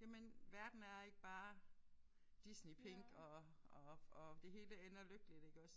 jamen verden er ikke bare Disneypink og og og det hele ender lykkeligt iggås